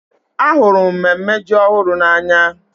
Ahụrụ m mmemme ji ọhụrụ n'anya.